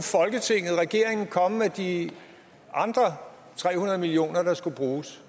komme med de andre tre hundrede million kr der skulle bruges